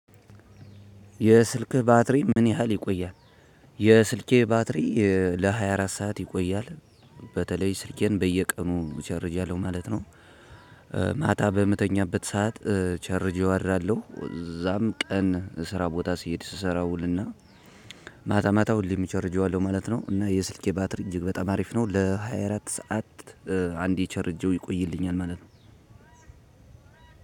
የስልክ ባትሪ ምን ያህል ይቆያል? የስልኬ ባትሪ ለሃያ አራት ሰዓት ይቆያል። በተለይ ስልኬን በየቀኑ ቻርጅ አደርጋለሁ ማለት ነው። ማታ በምተኛበት ሰዓት። ቸርጄው አደራለሁ እዛም ቀን ስራ ቦታ ሲሄድ ስሰራ ውልና። ማታ ማታ ሁሌም እቸርጀዋለሁ ማለት ነው። እና የስልኬ ባትሪ እጅግ በጣም አሪፍ ነው ለሃያ አራት ሰዓት። አንዴ ቸርጀው ይቆይልኛል ማለት ነው።